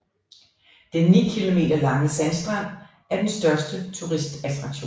Den 9 km lange sandstrand er den største turistattraktion